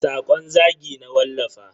Sakon zagi na wallafa.